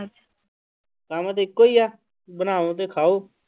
ਕੰਮ ਤੇ ਇੱਕੋ ਹੀ ਹੈ ਬਣਾਓ ਤੇ ਖਾਓ।